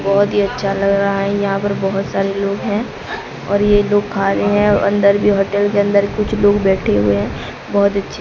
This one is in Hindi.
बहोत ही अच्छा लग रहा है यहां पर बहोत सारे लोग हैं और ये लोग खा रहे है अंदर भी होटल के अंदर कुछ लोग बैठे हुए हैं बहोत अच्छे--